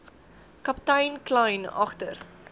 kaptein kleyn agter